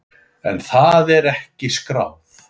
En það er ekki skráð.